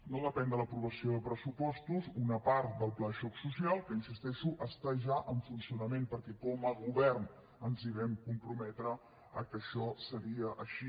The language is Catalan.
no depèn de l’aprovació de pressupostos una part del pla de xoc social que hi insisteixo està ja en funcionament perquè com a govern ens vam comprometre que això seria així